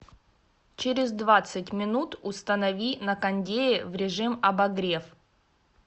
через двадцать минут установи на кондее в режим обогрев